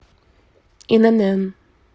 инн